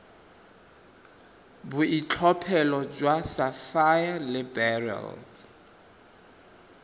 boitlhophelo jwa sapphire le beryl